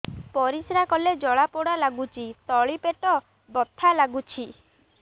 ପରିଶ୍ରା କଲେ ଜଳା ପୋଡା ଲାଗୁଚି ତଳି ପେଟ ବଥା ଲାଗୁଛି